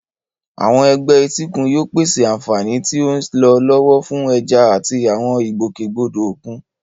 Àwọn agbègbè etíkun yóò pèsè àfààní tí ó ń lọ lọ́wọ́ fún ẹja àti àwọn ìgbòkègbodò òkun.